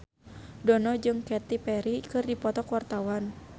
Dono jeung Katy Perry keur dipoto ku wartawan